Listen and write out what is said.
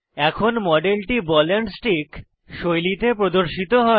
এখন মডেলটি ball and stick শৈলীতে প্রদর্শিত হয়